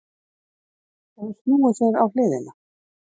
Hefur snúið sér á hliðina.